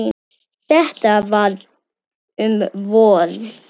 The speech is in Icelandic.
Þetta var um vor.